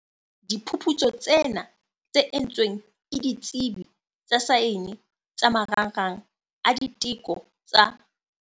Diphuputsu tsena, tse entsweng ke ditsebi tsa saene tsa Marangrang a diteko tsa.